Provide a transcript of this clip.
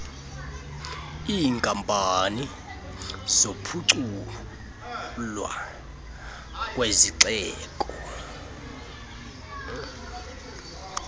iinkampani zokuphuculwa kwezixeko